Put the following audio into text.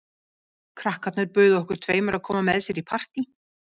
Krakkarnir buðu okkur tveimur að koma með sér í partí.